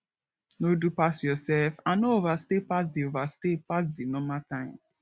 no do pass yourself and no overstay pass di overstay pass di normal time